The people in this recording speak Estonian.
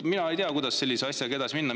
Mina ei tea, kuidas sellise asjaga edasi minna.